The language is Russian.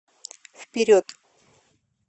вперед